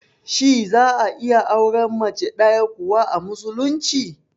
Shi za'a iya auren Mace ɗaya kawai, a musulunci?